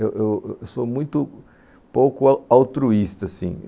Eu eu eu sou muito pouco altruísta, assim.